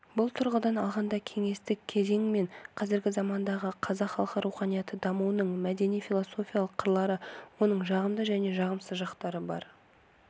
бұл тұрғыдан алғанда кеңестік кезең мен қазіргі замандағы қазақ халқы руханияты дамуының мәдени-философиялық қырлары оның жағымды және жағымсыз жақтары бар